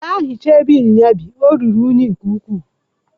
Gaa hichaa ebe inyinya bi, ọ ruru unyi nke ukwuu!